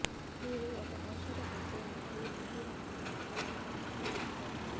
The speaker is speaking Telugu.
మీరు ఒక ఔషధ పెట్టేందుకు ముందు వారు డాక్టర్ ఖాతాలోకి తీసుకోవాలి